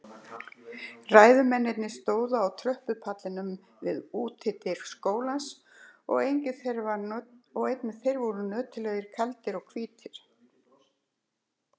Ræðumennirnir stóðu á tröppupallinum við útidyr skólans og einnig þeir voru nöturlegir, kaldir og hvítir.